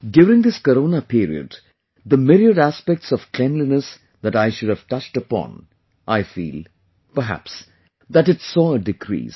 during this Corona period, the myriad aspects of cleanliness that I should have touched upon; I feel, perhaps, that it saw a decrease